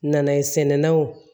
Nanaye sɛnɛnnaw